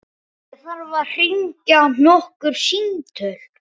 Ég þarf að hringja nokkur símtöl.